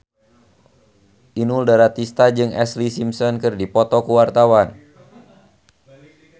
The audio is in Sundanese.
Inul Daratista jeung Ashlee Simpson keur dipoto ku wartawan